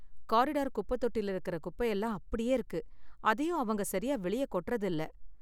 corridor குப்பை தொட்டில இருக்குற குப்பை எல்லாம் அப்படியே இருக்கு, அதையும் அவங்க சரியா வெளிய கொட்டுறது இல்ல